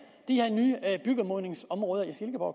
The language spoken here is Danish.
de her nye byggemodningsområder i silkeborg